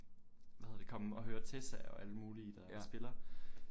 Hvad hedder det komme og høre Tessa og alle mulige der spiller